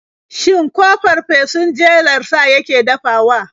Shin ko fafesun jelar sa yake dafawa?